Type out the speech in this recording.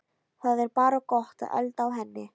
Það er bara gott að elda á henni